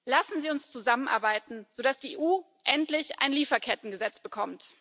Lassen Sie uns zusammenarbeiten, damit die EU endlich ein Lieferkettengesetz bekommt!